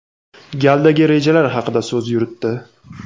galdagi rejalar haqida so‘z yuritdi.